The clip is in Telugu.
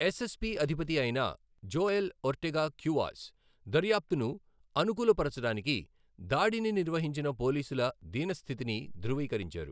ఎస్ఎస్పి అధిపతి అయిన జోయెల్ ఒర్టెగా క్యూవాస్, దర్యాప్తును అనుకూల పరచడానికి దాడిని నిర్వహించిన పోలీసుల దీన స్థితిని ధృవీకరించారు.